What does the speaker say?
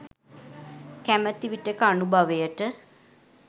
කැමැති විටෙක අනුභවයට